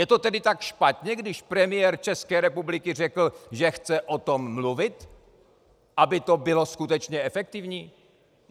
Je to tedy tak špatně, když premiér České republiky řekl, že chce o tom mluvit, aby to bylo skutečně efektivní?